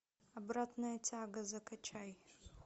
обратная тяга закачай